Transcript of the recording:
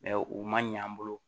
u man ɲɛ an bolo